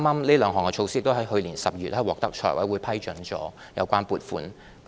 這兩項措施剛在去年12月獲得財務委員會批准撥款。